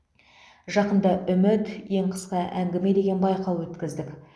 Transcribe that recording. жақында үміт ең қысқа әңгіме деген байқау өткіздік